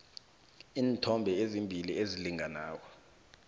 iinthombe ezimbili ezilingana